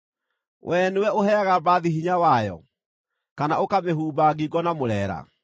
“Wee nĩwe ũheaga mbarathi hinya wayo, kana ũkamĩhumba ngingo na mũreera?